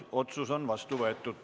Otsus on vastu võetud.